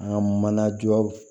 An ka mana jɔ